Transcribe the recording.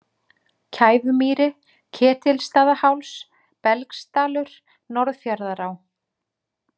Kæfumýri, Ketilsstaðaháls, Belgsdalur, Norðfjarðará